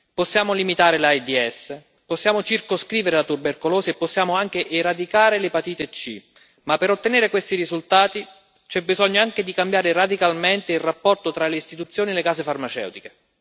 Possiamo limitare l'AIDS, possiamo circoscrivere la tubercolosi e possiamo anche eradicare l'epatite C, ma per ottenere questi risultati c'è bisogno anche di cambiare radicalmente il rapporto tra le istituzioni e le case farmaceutiche.